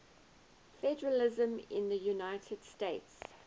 federalism in the united states